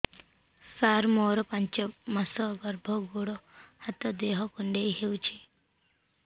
ସାର ମୋର ପାଞ୍ଚ ମାସ ଗର୍ଭ ଗୋଡ ହାତ ଦେହ କୁଣ୍ଡେଇ ହେଉଛି